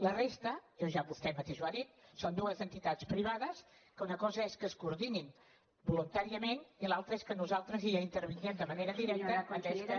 la resta vostè mateix ho ha dit són dues entitats privades que una cosa és que es coordinin voluntàriament i l’altra és que nosaltres hi intervinguem de manera directa atès que